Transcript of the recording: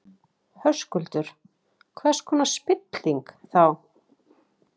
Höskuldur: Hvers konar spilling, þá?